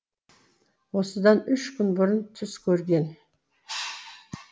осыдан үш күн бұрын түс көрген